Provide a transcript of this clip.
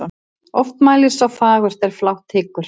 Oft mælir sá fagurt er flátt hyggur.